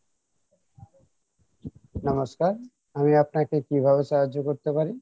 নমস্কার আমি আপনাকে কীভাবে সাহায্য করতে পারি?